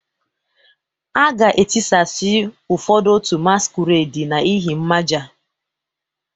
A ga-etisasị ụfọdụ otu masquerade n'ihi mmaja